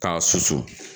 K'a susu